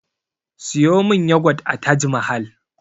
Siyo min yagwat a taj mahal